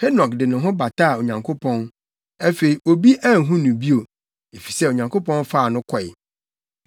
Henok de ne ho bataa Onyankopɔn; afei, obi anhu no bio, efisɛ Onyankopɔn faa no kɔe.